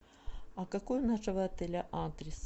а какой у нашего отеля адрес